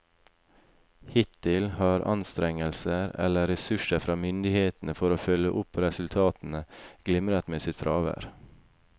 Hittil har anstrengelser eller ressurser fra myndighetene for å følge opp resultatene glimret med sitt fravær.